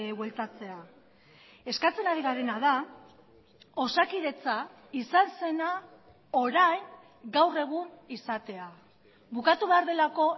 bueltatzea eskatzen ari garena da osakidetza izan zena orain gaur egun izatea bukatu behar delako